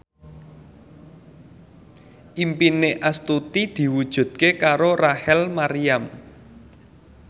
impine Astuti diwujudke karo Rachel Maryam